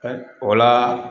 o la